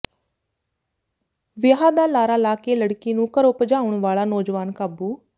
ਵਿਆਹ ਦਾ ਲਾਰਾ ਲਾ ਕੇ ਲੜਕੀ ਨੂੰ ਘਰੋਂ ਭਜਾਉਣ ਵਾਲਾ ਨੌਜਵਾਨ ਕਾਬੂ